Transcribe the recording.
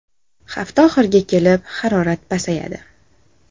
Hafta oxiriga kelib harorat pasayadi.